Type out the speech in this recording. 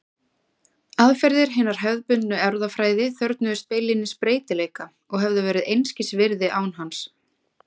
Aðferðir hinnar hefðbundnu erfðafræði þörfnuðust beinlínis breytileika og hefðu verið einskis virði án hans.